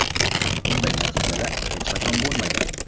Bunday natijalar hech qachon bo‘lmagan.